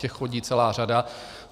Těch chodí celá řada.